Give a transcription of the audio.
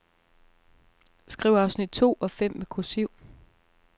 Skriv afsnit to og fem med kursiv.